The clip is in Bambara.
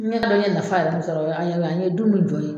N y'a dɔn n ye nafa min yɛrɛ sɔrɔ o ye a ye an ye dun min jɔ ye